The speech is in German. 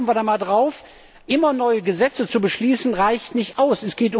Schauen wir da einmal drauf! Immer neue Gesetze zu beschließen, reicht nicht aus!